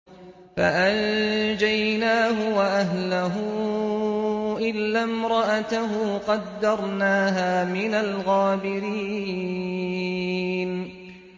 فَأَنجَيْنَاهُ وَأَهْلَهُ إِلَّا امْرَأَتَهُ قَدَّرْنَاهَا مِنَ الْغَابِرِينَ